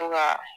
To ka